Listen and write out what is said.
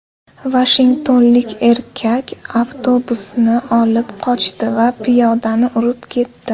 Vashingtonlik erkak avtobusni olib qochdi va piyodani urib ketdi.